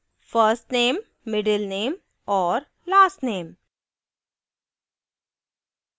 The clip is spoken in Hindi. $first _ name $middle _ name और $last _ name